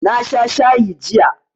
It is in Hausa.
Na sha shayi jiya